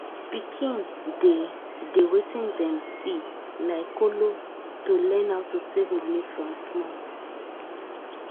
pikin dey dey wetin dem see like kolo to learn how to save money from small